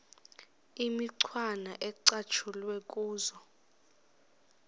imicwana ecatshulwe kuzo